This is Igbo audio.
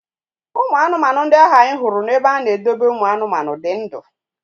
Ụmụ anụmanụ ndị ahụ anyị hụrụ na-ebe a na-edobe ụmụ anụmanụ dị ndụ.